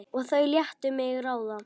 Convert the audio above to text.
Og þau létu mig ráða.